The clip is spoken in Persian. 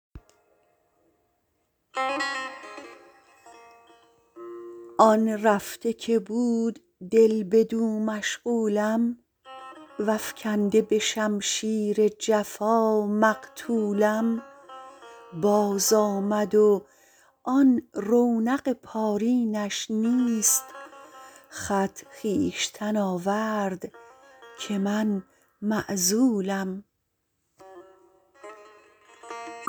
آن رفته که بود دل بدو مشغولم وافکنده به شمشیر جفا مقتولم بازآمد و آن رونق پارینش نیست خط خویشتن آورد که من معزولم